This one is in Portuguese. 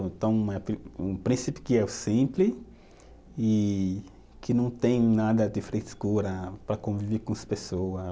Então, um príncipe que é o simples e que não tem nada de frescura para conviver com as pessoas.